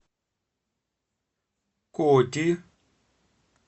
коти